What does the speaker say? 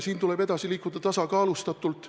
Siin tuleb edasi liikuda tasakaalustatult.